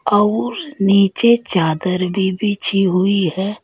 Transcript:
और नीचे चादर भी बिछी हुई है।